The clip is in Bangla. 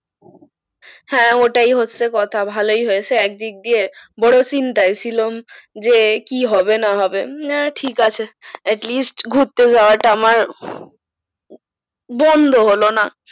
হ্যাঁ ওটাই হচ্ছে কথা ভালোই হয়েছে এক দিক দিয়ে বড়ো চিন্তায় ছিলুম যে কি হবে না হবে উম ঠিক আছে atleast ঘুরতে যাওয়াটা আমার বন্ধ হলো না।